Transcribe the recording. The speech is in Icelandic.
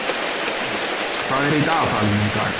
Hervin, hvað er í dagatalinu í dag?